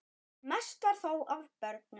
Mest var þó af börnum.